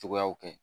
Cogoyaw kɛ